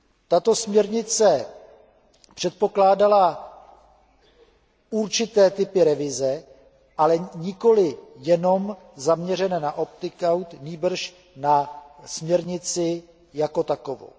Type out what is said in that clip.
Tato směrnice předpokládala určité typy revize, ale nikoli jenom zaměřené na opting out, nýbrž na směrnici jako takovou.